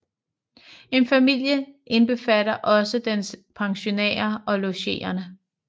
En familie indbefatter også dens pensionærer og logerende